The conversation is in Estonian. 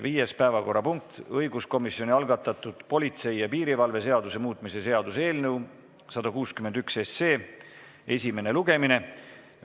Viies päevakorrapunkt on õiguskomisjoni algatatud politsei ja piirivalve seaduse muutmise seaduse eelnõu 161 esimene lugemine.